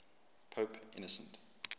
pope innocent